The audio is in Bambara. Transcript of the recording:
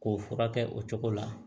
K'o furakɛ o cogo la